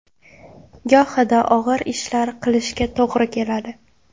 Gohida og‘ir ishlar qilishga to‘g‘ri keladi.